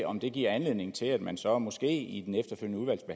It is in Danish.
om det giver anledning til at man så måske i